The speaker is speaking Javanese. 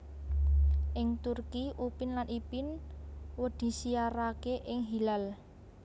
Ing Turki Upin lan Ipin wdisiarake ing Hilal